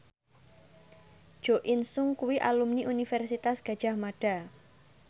Jo In Sung kuwi alumni Universitas Gadjah Mada